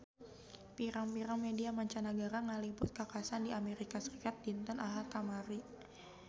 Pirang-pirang media mancanagara ngaliput kakhasan di Amerika Serikat dinten Ahad kamari